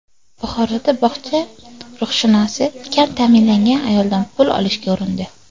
Buxoroda bog‘cha ruhshunosi kam ta’minlangan ayoldan pul olishga urindi.